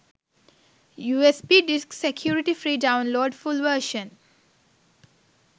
usb disk security free download full version